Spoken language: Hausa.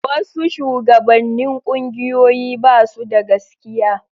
Wasu shugabannin ƙungiyoyi ba su da gaskiya.